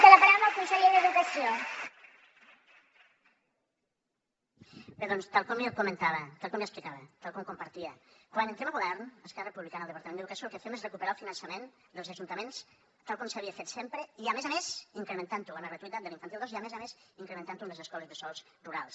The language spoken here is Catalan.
bé doncs tal com li comentava tal com li explicava tal com compartia quan entrem a govern esquerra republicana al departament d’educació el que fem és recuperar el finançament dels ajuntaments tal com s’havia fet sempre i a més a més incrementant ho amb la gratuïtat de l’infantil dos i a més a més incrementant ho amb les escoles bressols rurals